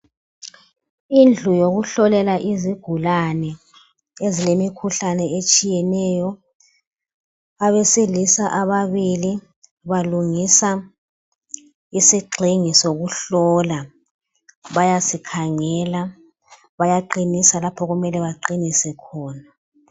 Indlu yokuhlolela izigulane ezilemikhuhlane etshiyeneyo. Abesilisa ababili balungisa isigxingi sokuhlola. Bayasikhangela bayaqinisa lapho kumele baqinise khona.